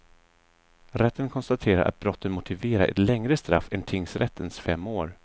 Rätten konstaterar att brotten motiverar ett längre straff än tingsrättens fem år.